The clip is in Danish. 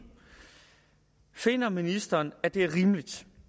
finder ministeren at det er rimeligt